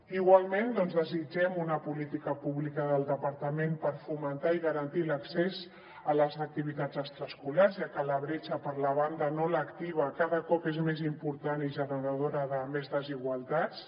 igualment doncs desitgem una política pública del departament per fomentar i garantir l’accés a les activitats extraescolars ja que la bretxa per la banda no lectiva cada cop és més important i generadora de més desigualtats